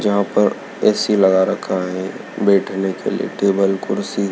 जहां पर ऐ_सी लगा रखा है बैठने के लिए टेबल कुर्सी--